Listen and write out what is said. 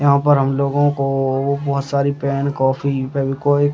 यहाँ पर हमलोगो को बहुत सारी पेन कॉपी फेवी-क्विक --